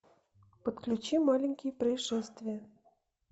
подключи маленькие происшествия